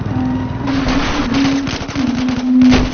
और फ्रंट में green background है।